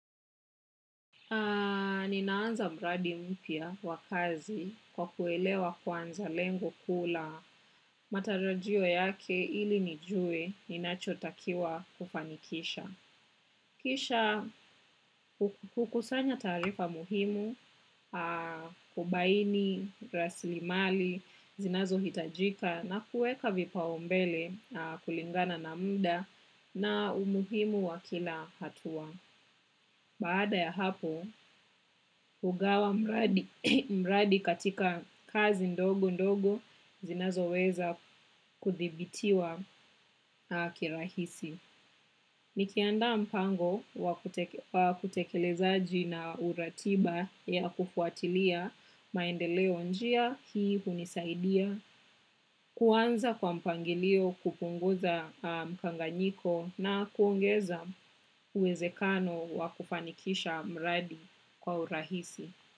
Ninaanza mradi mpya wa kazi kwa kuelewa kwanza lengo kuu la matarajio yake ili nijue ninachotakiwa kufanikisha. Kisha hukusanya taarifa muhimu, kubaini rasilimali zinazohitajika na kuweka vipaombele kulingana na mda na umuhimu wa kila hatua. Baada ya hapo, hugawa mradi katika kazi ndogo ndogo zinazoweza kuthibitiwa kirahisi. Nikiandaa mpango wa kutekelezaji na uratiba ya kufuatilia maendeleo, njia hii hunisaidia kuanza kwa mpangilio, kupunguza mkanganyiko na kuongeza uwezekano wa kufanikisha mradi kwa urahisi.